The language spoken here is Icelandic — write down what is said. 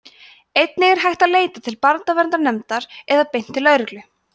einnig er hægt að leita til barnaverndarnefndar eða beint til lögreglu